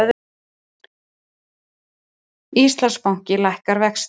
Íslandsbanki lækkar vexti